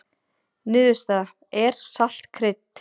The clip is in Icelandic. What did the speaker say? Niðurstaða: Er salt krydd?